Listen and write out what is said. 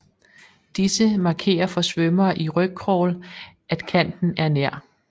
Disse markerer for svømmere i rygcrawl at kanten er nær